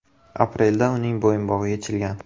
Aprelda uning bo‘yinbog‘i yechilgan.